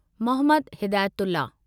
Mohammad Hidayatullah